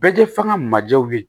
Bɛɛ kɛ fɔ an ga majɛw ye